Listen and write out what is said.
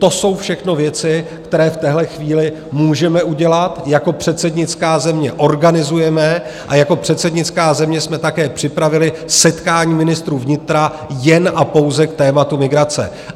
To jsou všechno věci, které v téhle chvíli můžeme udělat, jako předsednická země organizujeme a jako předsednická země jsme také připravili setkání ministrů vnitra jen a pouze k tématu migrace.